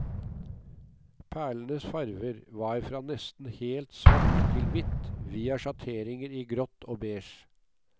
Perlenes farver var fra nesten helt svart til hvitt, via sjatteringer i grått og beige.